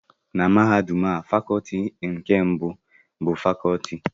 Na Mahadum a Fakọọti nke iwu bụ Fakọọti mbụ e hiwere